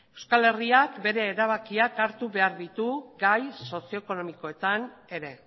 euskal herriak bere erabakia hartu behar ditu gai sozio ekonomikoetan ere